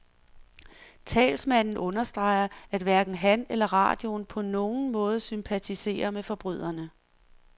Talsmanden understreger, at hverken han eller radioen på nogen måder sympatiserer med forbryderne.